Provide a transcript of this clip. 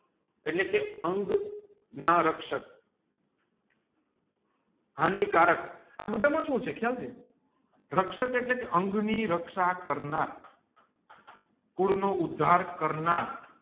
એટલે કે અંઞા રક્ષક હાનિકારક અબાધ માં સુ છે ખ્યાલ છે રક્ષક એટલે કે અંગ ની રકાશ કરનાર ફૂડ નો ઉદ્ધાર કરનાર